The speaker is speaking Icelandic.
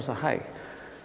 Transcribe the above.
segja hæ